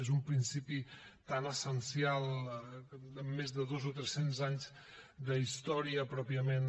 és un principi tan essencial amb més de dos o tres cents anys d’història pròpiament